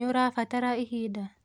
Nĩũrabatara ihinda.